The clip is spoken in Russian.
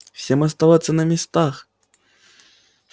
всем оставаться на местах